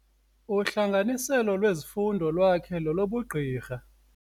Uhlanganiselo lwezifundo lwakhe lolobugqirha.